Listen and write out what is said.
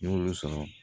N y'olu sɔrɔ